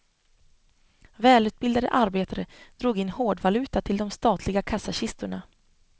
Välutbildade arbetare drog in hårdvaluta till de statliga kassakistorna.